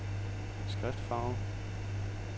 skriftfarve